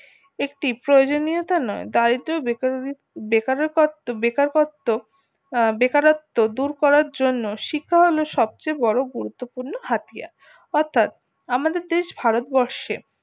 একটি প্রয়োজনীয়তা নয় দারিদ্র বেকারো বেকারকত্ব বেকারকত্ব বেকারত্ব দূর করার জন্য শিক্ষা হলো সবচেয়ে বড়ো গুরুত্বপূর্ণ হাতিয়ার অর্থাৎ আমাদের দেশ ভারতবর্ষে